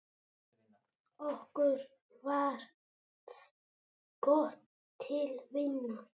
Okkur varð gott til vina.